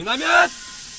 Minaatan!